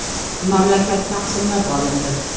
Mamlakat taqsimlab olindi.